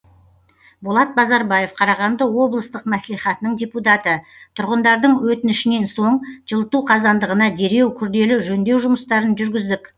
болат базарбаев қарағанды облыстық мәслихатының депутаты тұрғындардың өтінішінен соң жылыту қазандығына дереу күрделі жөндеу жұмыстарын жүргіздік